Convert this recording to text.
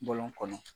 Bɔlɔn kɔnɔ